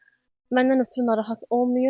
Məndən ötrü narahat olmayın.